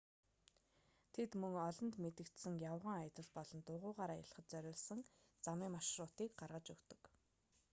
тэд мөн олонд мэдэгдсэн явган аялал болон дугуйгаар аялахад зориулсан замын маршрутыг гаргаж өгдөг